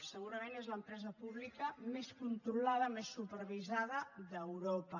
segurament és l’empresa pública més controlada més supervisada d’europa